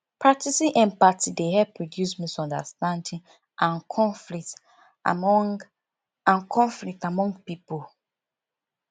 practicing empathy dey help reduce misunderstanding and conflict among and conflict among pipo